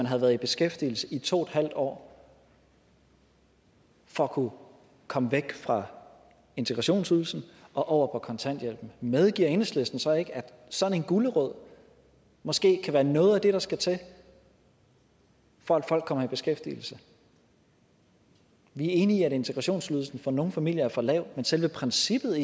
have været i beskæftigelse i to en år for at kunne komme væk fra integrationsydelsen og over på kontanthjælp medgiver enhedslisten så ikke at sådan en gulerod måske kan være noget af det der skal til for at folk kommer i beskæftigelse vi er enige i at integrationsydelsen for nogle familier er for lav men selve princippet